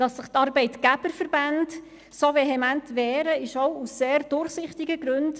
Dass sich die Arbeitgeberverbände so vehement wehren, geschieht auch aus sehr durchsichtigen Gründen.